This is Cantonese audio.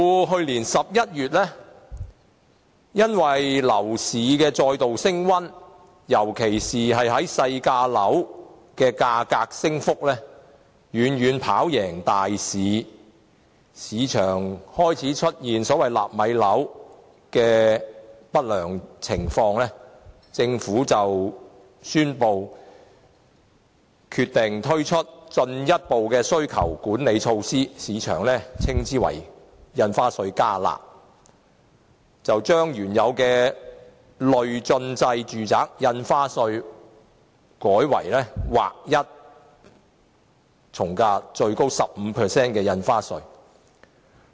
去年11月，由於樓市再度升溫，尤其是細價樓的價格升幅遠遠跑贏大市，市場開始出現所謂"納米樓"的不良現象，政府因而宣布推出進一步需求管理措施，即所謂"加辣"措施，將原來的累進制從價印花稅稅率改為劃一徵收 15% 新稅率。